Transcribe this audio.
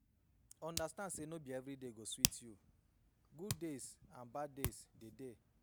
Understand say no be everyday go sweet you, good days and bad days de